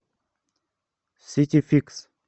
ситификс